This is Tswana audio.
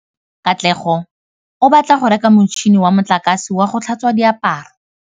Katlego o batla go reka motšhine wa motlakase wa go tlhatswa diaparo.